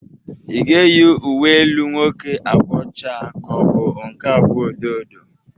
Ï ga-eyi uwe elu nwoke agwa ọcha ka ọ bụ nke agwa odo odo?